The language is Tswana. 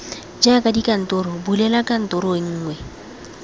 jaaka dikantoro bulela kantoro nngwe